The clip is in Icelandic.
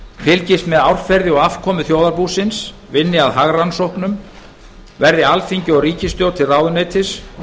fylgjast með árferði og afkomu þjóðarbúsins vinna að hagrannsóknum vera alþingi og ríkisstjórn til ráðuneytis